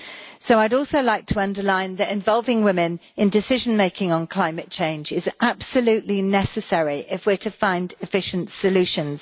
So I would also like to underline that involving women in decision making on climate change is absolutely necessary if we are to find efficient solutions.